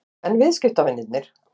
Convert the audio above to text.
En viðskiptavinirnir?